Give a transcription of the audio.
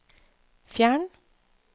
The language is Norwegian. fjern